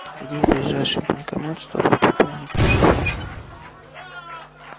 где ближайший банкомат чтобы пополнить телефон